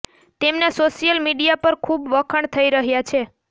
તેમના social media પર ખૂબ વખાણ થઈ રહ્યા છે